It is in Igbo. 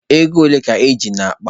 Ego ole ka I ji n'akpa?